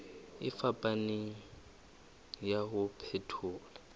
e fapaneng ya ho phethola